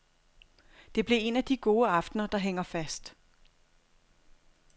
Det blev en af de gode aftener, der hænger fast.